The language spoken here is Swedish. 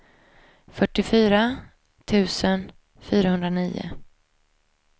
fyrtiofyra tusen fyrahundranio